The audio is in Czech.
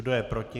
Kdo je proti?